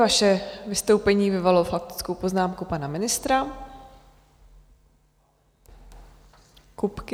Vaše vystoupení vyvolalo faktickou poznámku pana ministra Kupky.